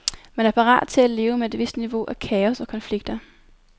Man er parat til at leve med et vist niveau af kaos og konflikter.